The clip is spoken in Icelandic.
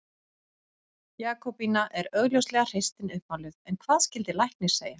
Jakobína er augljóslega hreystin uppmáluð en hvað skyldi læknir segja?